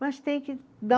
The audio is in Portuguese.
Mas tem que dar